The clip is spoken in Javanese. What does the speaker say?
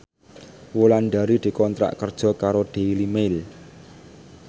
Wulandari dikontrak kerja karo Daily Mail